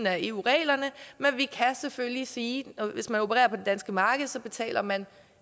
er eu reglerne men vi kan selvfølgelig sige at hvis man opererer på det danske marked betaler man